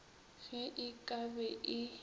ge e ka be e